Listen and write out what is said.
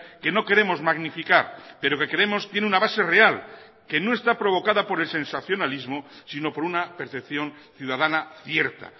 que no queremos magnificar pero que creemos tiene una base real que no está provocada por el sensacionalismo sino por una percepción ciudadana cierta